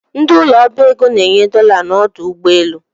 Ndị ụlọ ọbaego na-enye dola n’udu ugboelu